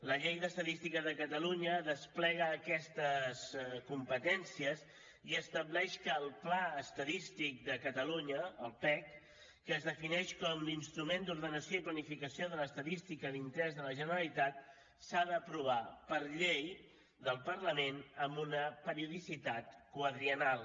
la llei d’estadística de catalunya desplega aquestes competències i estableix que el pla estadístic de catalunya el pec que es defineix com l’instrument d’ordenació i planificació de l’estadística d’interès de la generalitat s’ha d’aprovar per llei del parlament amb una periodicitat quadriennal